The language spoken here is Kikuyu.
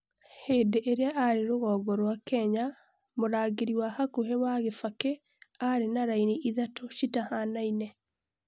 hĩndĩ ĩria arĩ rũgongo rwa Kenya, mũrangĩri wa hakuhĩ wa Kibaki arĩ na raini ithatũ citahanaine